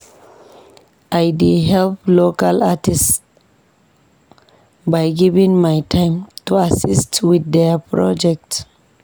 I dey help local artists by giving my time to assist with their projects.